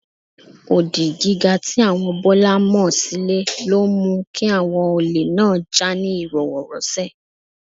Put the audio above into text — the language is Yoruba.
Odi gíga tí àwọn Bọ́lá mọ sílé ló mú kí àwọn olè náà jà ní ìrọwọ́rọsẹ̀